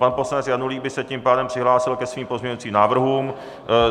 Pan poslanec Janulík by se tím pádem přihlásil ke svým pozměňujícím návrhům.